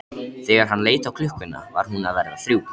Þegar hann leit á klukkuna var hún að verða þrjú.